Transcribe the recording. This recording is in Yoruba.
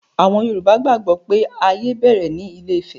Àwọn Yorùbá gbàgbó pé ayé bẹ̀rẹ̀ ní ilé-ifẹ̀